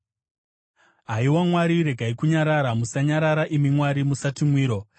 Haiwa Mwari, regai kunyarara; musanyarara, imi Mwari, musati mwiro.